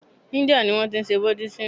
India ni wọ́n ti n se buddhism